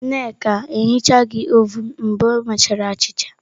Nneka ehichaghi ovun mgbe o mechara achịcha.